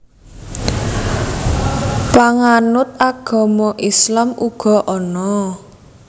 Panganut agama Islam uga ana